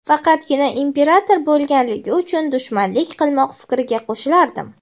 faqatgina imperator bo‘lganligi uchun dushmanlik qilmoq fikriga qo‘shilardim.